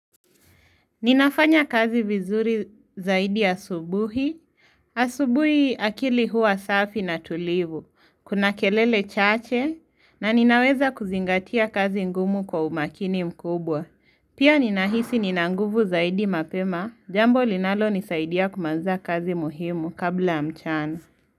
Ninafanya kazi vizuri zaidi asubuhi, asubuhi akili huwa safi na tulivu, kuna kelele chache, na ninaweza kuzingatia kazi ngumu kwa umakini mkubwa. Pia ninahisi nina nguvu zaidi mapema, jambo linalonisaidia kumaliza kazi muhimu kabla ya mchana.